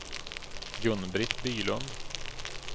Gun-Britt Bylund